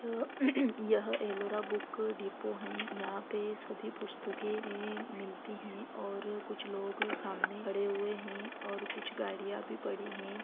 यह यह Ellora book depot है यहाँ पे सभी पुस्तके मिलती हैं और कुछ लोग सामने खड़े हुए हैं और कुछ गाड़िया भी पड़ी हैं।